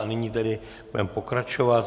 A nyní tedy budeme pokračovat.